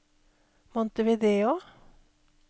Montevideo